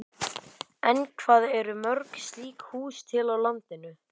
En hvað eru mörg slík hús til á landinu?